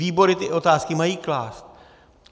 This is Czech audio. Výbory ty otázky mají klást.